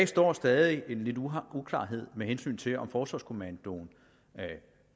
står stadig en uklarhed med hensyn til om forsvarskommandoen